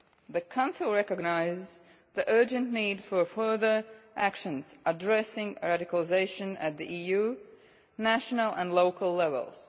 The Council recognises the urgent need for further action addressing radicalisation at the EU, national and local levels.